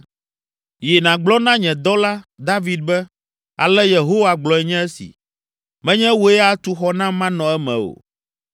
“Yi, nàgblɔ na nye dɔla, David be, ‘Ale Yehowa gblɔe nye si: Menye wòe atu xɔ nam manɔ eme o.